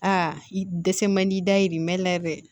Aa i dɛsɛ man di da ye nin ma yɛlɛ